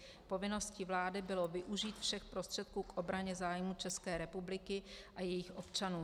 Povinností vlády bylo využít všech prostředků k obraně zájmů České republiky a jejích občanů.